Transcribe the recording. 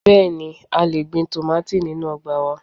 Bẹẹni, a gbin tomati ninu ọgba wa